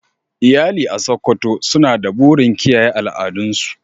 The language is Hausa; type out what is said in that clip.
Iyali a Sokoto suna da burin kiyaye al'adun su.